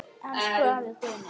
Elsku afi Guðni.